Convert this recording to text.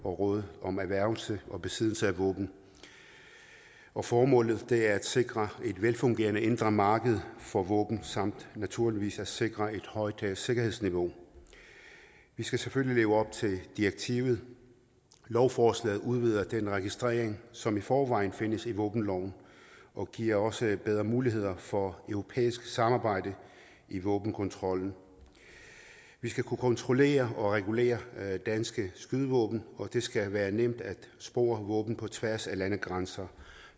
og rådet om erhvervelse og besiddelse af våben og formålet er at sikre et velfungerende indre marked for våben samt naturligvis at sikre et højt sikkerhedsniveau vi skal selvfølgelig leve op til direktivet lovforslaget udvider den registrering som i forvejen findes i våbenloven og giver også bedre muligheder for europæisk samarbejde i våbenkontrollen vi skal kunne kontrollere og regulere danske skydevåben og det skal være nemt at spore våben på tværs af landegrænser